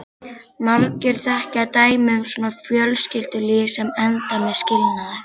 Margir þekkja dæmi um svona fjölskyldulíf sem enda með skilnaði.